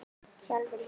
Sjálfur hikaði